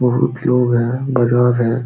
बोहोत लोग हैं बाजार है।